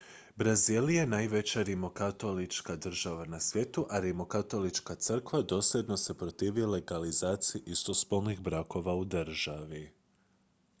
brazil je najveća rimokatolička država na svijetu a rimokatolička crkva dosljedno se protivi legalizaciji istospolnih brakova u državi